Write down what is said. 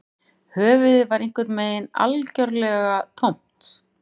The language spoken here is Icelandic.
Höfuðið var einhvern veginn algjörlega tómt